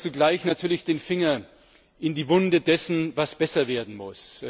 Sie legt aber zugleich natürlich den Finger in die Wunde dessen, was besser werden muss.